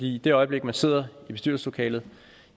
i det øjeblik man sidder i bestyrelseslokalet